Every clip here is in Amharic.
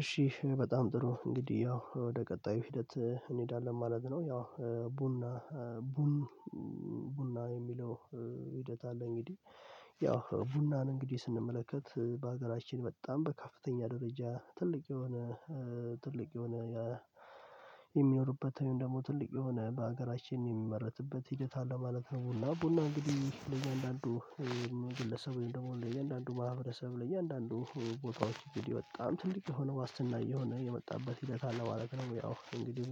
እሺ በጣም ጥሩ እንግዲህ ያው ወደ ቀጣዩ ሂደት እንሄዳለን ማለት ነው። ያው ቡና ቡና የሚለው ሂደት አለ። እንግዲህ ያው ቡናን እንግዲህ ስንመለከት በሀገራችን በጣም በከፍተኛ ደረጃ ትልቅ የሆነ ትልቅ የሆነ የሚኖርበት ወይም ደግሞ ትልቅ የሆነ በሀገራችን የሚመረትበት ሂደት አለ ማለት ነው። ቡና እንግዲህ ለእያንዳንዱ ግለሰብ ወይም ደግሞ ለእያንዳንዱ ማህበረሰብ ለእያንዳንዱ ቦታዎች እንግዲህ በጣም ትልቅ የሆነ ዋስትና የሆነ የመጣበት ሂደት አለ ማለት ነው። ያው እንግዲህ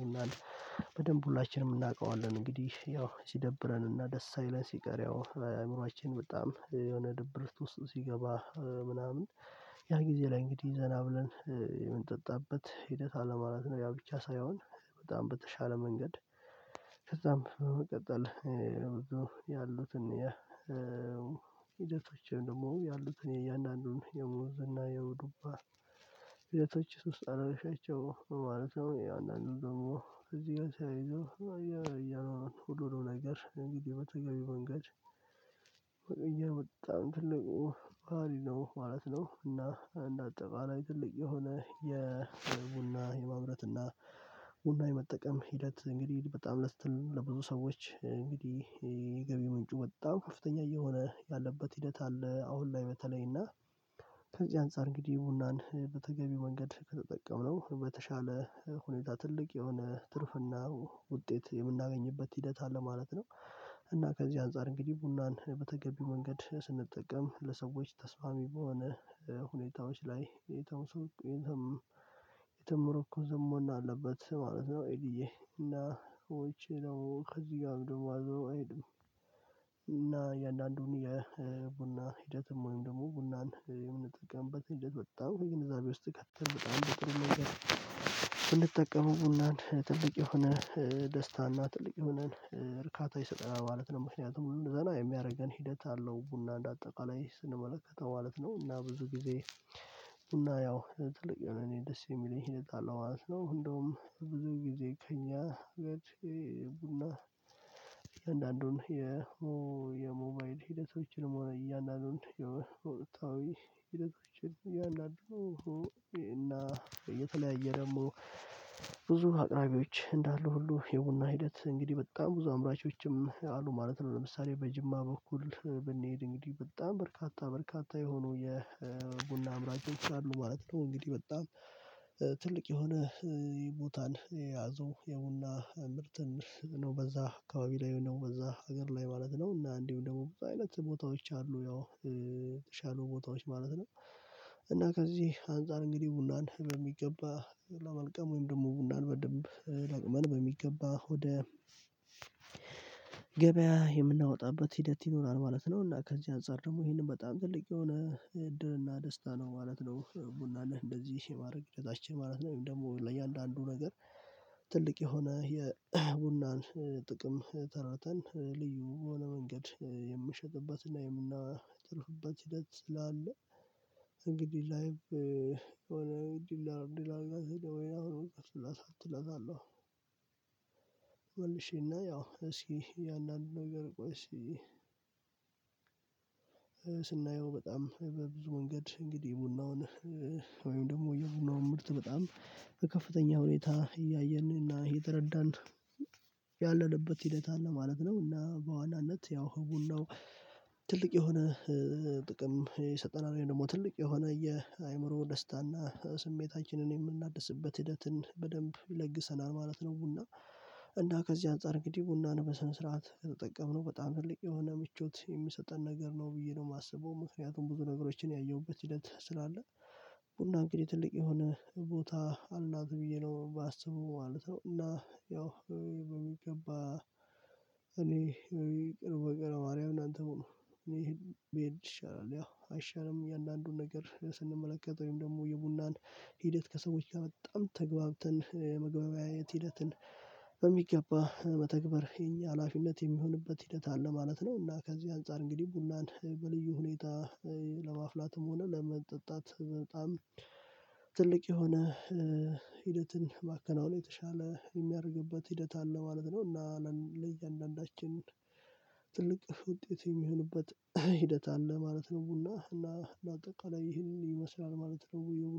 በደንብ ሁላችንም እናውቀዋለን እንግዲህ ያው ሲደብረን እና ደስ ሳይለን ሲቀር ያው አእምሮአችን በጣም የሆነ ድብርት ውስጥ ሲገባ ምናምን ያ ጊዜ ላይ እንግዲህ ዘና ብለን የምንጠጣበት ሂደት አለ ማለት ነው። ያ ብቻ ሳይሆን በጣም በተሻለ መንገድ ከዛም በመቀጠል ብዙ ያሉትን የ ሂደቶች ወይም ደግሞ ያሉትን የእያንዳንዱን የሙዝና የውዱባ ሂደቶችሽ ውስጥ አላረግሻቸውም ማለት ነው። ያው አንዳንዱ ደግሞ እዚህ ጋር ተያይዞ እያኖሩን ነው ሁሉንም ነገር እንግዲህ መተገቢው መንገድ ይህ በጣም ትልቅ ባህሪ ነው ማለት ነው። እና እንደ አጠቃላይ ትልቅ የሆነ የቡና የማምረት እና ቡና የመጠቀም ሂደት እንግዲህ በጣም ለብዙ ሰዎች እንግዲህ የገቢ ምንጩ በጣም ከፍተኛ እየሆነ ያለበት ሂደት አለ። አሁን ላይ በተለይ እና ከዚህ አንፃር እንግዲህ ቡናን በተገቢ መንገድ ከተጠቀምነው በተሻለ ሁኔታ ትልቅ የሆነ ትርፍና ውጤት የምናገኝበት ሂደት አለ ማለት ነው። እና ከዚህ አንፃር እንግዲህ ቡናን በተገቢው መንገድ ስንጠቀም ለሰዎች ተስማሚ በሆነ ሁኔታዎች ላይ የተመረኮዘ መሆን አለበት ማለት ነው። ኤዲዬ እና ውጭ ነው ከዚህ ጋር ደግሞ አብሮ አይሄድም። እና የእንዳንዱን የቡና ሂደትም ወይም ደግሞ ቡናን የምንጠቀምበት ሂደት በጣም የግንዛቤ ውስጥ ከተን በጣም በጥሩ መንገድ ብንጠቀመው ቡናን ትልቅ የሆነ ደስታና ትልቅ የሆነን እርካታ ይሰጠናል ማለት ነው። ምክንያቱም ዘና የሚያደርገን ሂደት አለው ቡና እንደ አጠቃላይ ስንመለከተው ማለት ነው እና ብዙ ጊዜ እና ያው ትልቅ የሆነ እኔ ደስ የሚለኝ እጠጣለሁ ማለት ነው። እንደውም ብዙ ጊዜ ከእኛ ጋር ቡና አንዳንዱን የሞባይል ሂደቶችንም ሆነ እያንዳንዱን የወቅታዊ ሂደቶችን እያንዳንዱ እና የተለያየ ደግሞ ብዙ አቅራቢዎች እንዳሉ ሁሉ የቡና ሂደት እንግዲህ በጣም ብዙ አምራቾችም አሉ ማለት ነው። ለምሳሌ በጅማ በኩል ብንሄድ እንግዲህ በጣም በርካታ በርካታ የሆኑ የቡና አምራቾች አሉ ማለት ነው። እንግዲህ በጣም ትልቅ የሆነ ቦታን የያዙ የቡና ምርትን ነው በዛ አካባቢ ላይ ነው በዛ ሀገር ላይ ማለት ነው። እና እንዲሁ ደግሞ ብዙ አይነት ቦታዎች አሉ ያው የተሻሉ ቦታዎች ማለት ነው። እና ከዚህ አንፃር እንግዲህ ቡናን በሚገባ ለመልቀም ወይም ደግሞ ቡናን በደንብ ለቅመን በሚገባ ወደ ገበያ የምናወጣበት ሂደት ይኖራል ማለት ነው። እና ከዚህ አንፃር ደግሞ ይሄንን በጣም ትልቅ የሆነ እድልና ደስታ ነው ማለት ነው ቡናን እንደዚህ የማድረግ ሂደታችን ማለት ነው። ወይም ደግሞ ለእያንዳንዱ ነገር ትልቅ የሆነ የቡናን ጥቅም ተረድተን ልዩ በሆነ መንገድ የምሸጥበትና የምናተርፍበት ሂደት ስላለ እንግዲህ ላይቭ የሆነ እንግዲህ ዲላር ወይ እከፍትላታለሁ። መልሽና ያው እስኪ እያንዳንዱን ነገር ቆይ እስኪ ስናየው በጣም በብዙ መንገድ እንግዲህ ቡናውን ወይም ደግሞ የቡናውን ምርት በጣም በከፍተኛ ሁኔታ እያየን እና እየተረዳን ያለንበት ሂደት አለ ማለት ነው። እና በዋናነት ያው ቡናው የሆነ ጥቅም የሰጠና ነው ደግሞ ትልቅ የሆነ የአእምሮ ደስታና ስሜታችንን የምናድስበት ሂደትን በደንብ ይለግሰናል ማለት ነው። ቡና እንደ ከዚህ አንፃር እንግዲህ ቡናን በስነ ስርዓት ከተጠቀምነው በጣም ትልቅ የሆነ ምቾት የሚሰጠን ነገር ነው ብዬ ነው የማስበው ምክንያቱም ብዙ ነገሮችን ያየሁበት ሂደት ስላለ ቡና እንግዲህ ትልቅ የሆነ ቦታ አላት ብዬ ነው ማስበው ማለት ነው። እና ያው በሚገባ እኔ በሚቀርብ በቀረ ማርያም እናንተ ሁኑ እኔ ሄድ ይሻላል። ያው አይሻልም የእያንዳንዱን ነገር ስንመለከት ወይም ደግሞ የቡናን ሂደት ከሰዎች ጋር በጣም ተግባብተን የመግባቢያ የት ሂደትን በሚገባ መተግበር የኛ ሀላፊነት የሚሆንበት ሂደት አለ ማለት ነው። እና ከዚህ አንፃር እንግዲህ ቡናን በልዩ ሁኔታ ለማፍላትም ሆነ ለመጠጣት በጣም ትልቅ የሆነ ሂደትን ማከናወን የተሻለ የሚያደርግበት ሂደት አለ ማለት ነው። እና ለእያንዳንዳችን ትልቅ ውጤት የሚሆኑበት ሂደት አለ ማለት ነው። ቡና እና አጠቃላይ ይህንን ይመስላል ማለት ነው። ቡና